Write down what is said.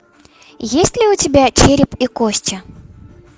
есть ли у тебя череп и кости